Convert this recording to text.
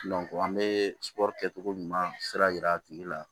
an bɛ kɛ cogo ɲuman sira jira a tigi la